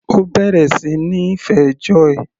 Ó bẹ̀rẹ̀ sí níí fẹ́ Joy.